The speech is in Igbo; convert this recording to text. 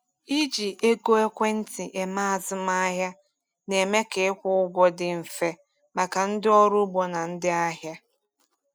Iji ego ekwentị eme azụmahịa na-eme ka ịkwụ ụgwọ dị mfe maka ndị ọrụ ugbo na ndị ahịa.